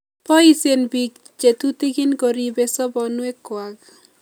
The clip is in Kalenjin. Poisyen piik peek che tutikin koribe sobonwek kwak